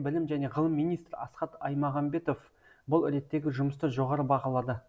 білім және ғылым министрі асхат аймағамбетов бұл реттегі жұмысты жоғары бағалады